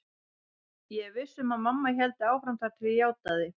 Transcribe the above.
Ég var viss um að mamma héldi áfram þar til ég játaði.